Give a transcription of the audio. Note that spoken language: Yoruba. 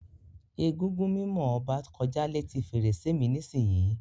Egúngún mimo Oba koja leti ferese mi nisiyi.